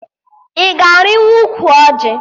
Ị ga-arịnwu ụkwụ ọjị?